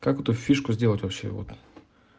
как эту фишку сделать вообще вот